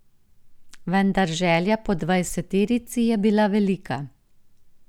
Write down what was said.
Vendar želja po dvajseterici je bila velika.